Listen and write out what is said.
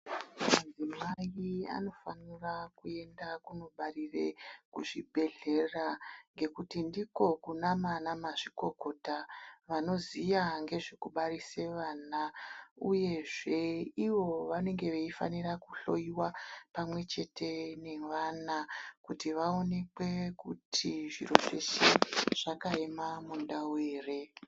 Madzimai anofanira kuende kunobarire kuchibhedhlera ngekuti ndiko kunamana mazvikokota vanoziya ngezvekubarise vana, uyezve ivo vanenge vaifanira kuhloiwa pamwe chete nevana kuti vaonekwe kuti zviro zveshe zvakaema mundau ere.